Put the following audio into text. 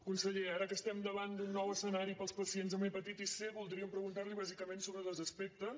conseller ara que estem davant d’un nou escenari per als pacients amb hepatitis c voldríem preguntar·li bàsicament so·bre dos aspectes